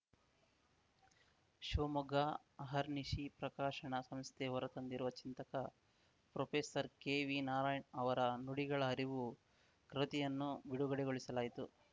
ಶಿವಮೊಗ್ಗ ಅಹರ್ನಿಶಿ ಪ್ರಕಾಶನ ಸಂಸ್ಥೆ ಹೊರ ತಂದಿರುವ ಚಿಂತಕ ಪ್ರೊಫೆಸರ್ ಕೆ ವಿ ನಾರಾಯಣ್‌ ಅವರ ನುಡಿಗಳ ಅರಿವು ಕೃತಿಯನ್ನು ಬಿಡುಗಡೆಗೊಳಿಸಲಾಯಿತು